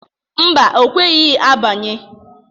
Mba, o kweghi agbanye.